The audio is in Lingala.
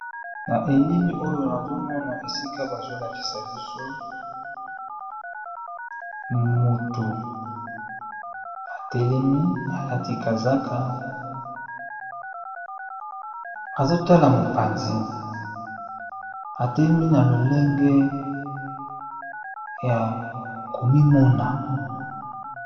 Balakisi biso mutu atelemi, alati kazaka, azotala na mopanzi .